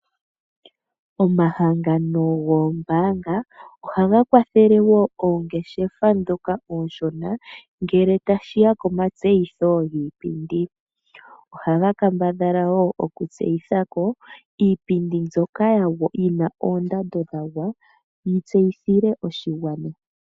Omahangano goombaanga ohaga kwathele wo ongeshefa dhoka ooshona ngele tashiya komatseyitho giipindi, ohaga kambadhala wo okutseyitha ko iipindi mbyoka yina oondando dhagwa yi tseyithilwe oshigwana